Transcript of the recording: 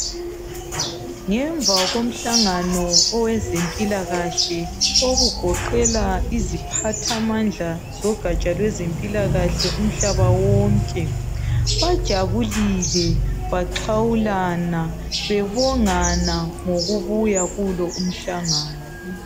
Ngemva komhlangano wezempilakahle ogoqela iziphatha mandla lwezempilakahle umhlaba wonke bajabulile baxhawulana bebongana ngokubuya kulomhlangano